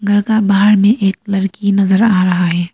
घर का बाहर में एक लड़की नजर आ रहा है।